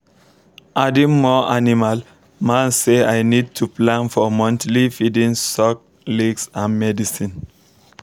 adding more animal man say i need to plan for monthly feeding salk licks and medicine